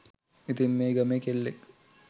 ඉතින් මේ ගමේ කෙල්ලෙක්